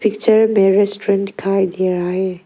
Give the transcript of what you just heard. Picture में restaurant दिखाई दे रहा है।